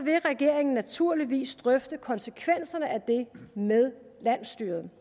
vil regeringen naturligvis drøfte konsekvenserne af det med landsstyret